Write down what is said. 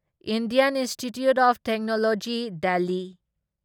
Indian institute of technology Delhi